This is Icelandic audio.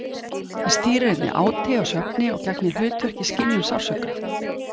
Það stýrir einnig áti og svefni og gegnir hlutverki í skynjun sársauka.